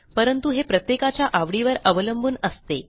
परंतु हे प्रत्येकाच्या आवडीवर अवलंबून असते